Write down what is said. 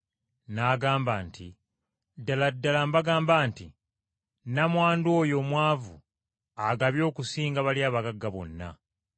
N’agamba nti, “Ddala ddala mbagamba nti nnamwandu oyo omwavu agabye okusinga bali abagagga bonna.